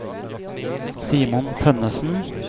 Simon Tønnessen